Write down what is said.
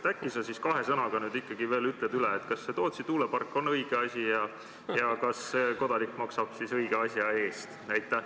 Äkki sa kahe sõnaga nüüd veel selgitad, kas Tootsi tuulepark on õige asi ja kas kodanik maksab ikka õige asja eest?